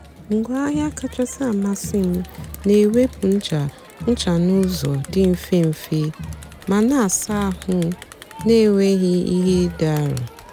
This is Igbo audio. ngwaáahịa kachásị́ àmasị́ m na-èwèpụ́ nchá nchá n'ụ́zọ́ dị́ mfe mfe ma a na-àsa àhụ́ na-ènwèghị́ ìhé dị́ àrọ́.